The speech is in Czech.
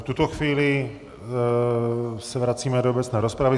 V tuto chvíli se vracíme do obecné rozpravy.